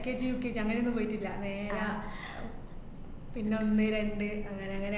LKGUKG അങ്ങനെയൊന്നും പോയിട്ടില്ല. നേരെ പിന്നെ ഒന്ന്, രണ്ട് അങ്ങനെയങ്ങനെ.